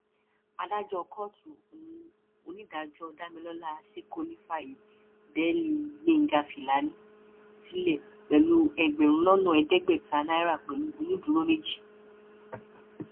adájọ kóòtù ohun onídàájọ damilọla ṣèkónì fààyè bẹẹlí gbẹngá filani sílẹ pẹlú ẹgbẹrún lọnà ẹẹdẹgbẹta náírà pẹlú onídùúró méjì